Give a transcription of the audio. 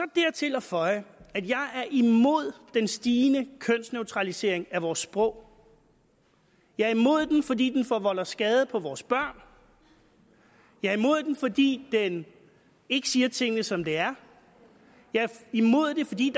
dertil at føje at jeg er imod den stigende kønsneutralisering af vores sprog jeg er imod den fordi den forvolder skade på vores børn jeg er imod den fordi den ikke siger tingene som de er jeg er imod den fordi